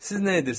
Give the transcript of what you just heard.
Siz nə edirsiz?